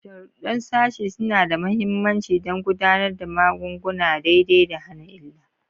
Sharuɗɗan sashi suna da mahimmanci don gudanar da magunguna daidai da hana illa.